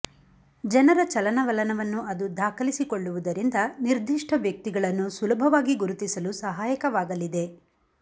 ಜನರ ಚಲನವಲನವನ್ನು ಅದು ದಾಖಲಿಸಿಕೊಳ್ಳುವುದರಿಂದ ನಿರ್ಧಿಷ್ಟ ವ್ಯಕ್ತಿಗಳನ್ನು ಸುಲಭವಾಗಿ ಗುರುತಿಸಲು ಸಹಾಯಕವಾಗಲಿದೆ